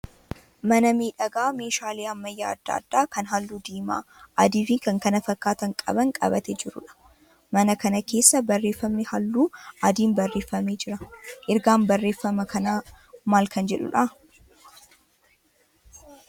Mana miidhagaa meeshaalee ammayyaa adda adaa kan halluu diimaa, adii fi kan kana fakkaatan qaban qabatee jiruudha. Mana kana keessa barreeffamni halluu adiin barreeffamee jira. Rrgaan barreeffama kanaa maal kan jedhuudha?